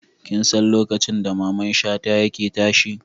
Kin san lokacin da Mamman Shata yake tashe?